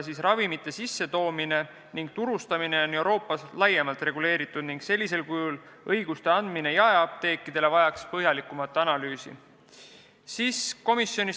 Ravimite hulgimüük, sissetoomine ning turustamine on aga Euroopas laiemalt reguleeritud ning sellisel kujul õiguste andmine jaeapteekidele vajaks põhjalikumat analüüsi.